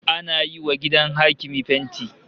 Ana yiwa gidan hakimi fenti